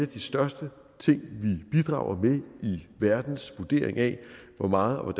de største ting vi bidrager med i verdens vurdering af hvor meget og